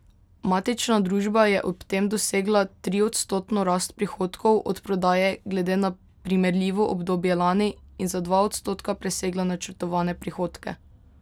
Matična družba je ob tem dosegla triodstotno rast prihodkov od prodaje glede na primerljivo obdobje lani in za dva odstotka presegla načrtovane prihodke.